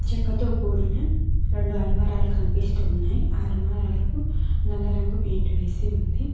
చెక్కతో కూడిన రెండు అల్మారాలు కనిపిస్తు ఉన్నాయ్ అ అల్మారాలకు నల్ల రంగు పెయింట్ వేసి ఉంది.